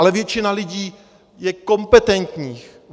Ale většina lidí je kompetentních.